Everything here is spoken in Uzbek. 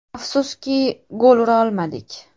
Afsuski, gol ura olmadik.